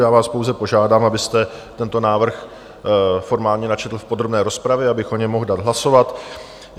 Já vás pouze požádám, abyste tento návrh formálně načetl v podrobné rozpravě, abych o něm mohl dát hlasovat.